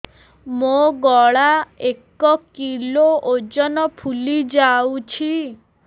ମୋ ଗଳା ଏକ କିଲୋ ଓଜନ ଫୁଲି ଯାଉଛି